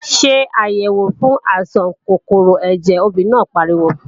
Ṣé àyèwò fún àìsàn kòkòrò ẹ̀jẹ̀, obìnrin náà pariwo!